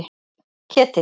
Ketill